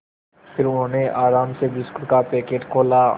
फिर उन्होंने आराम से बिस्कुट का पैकेट खोला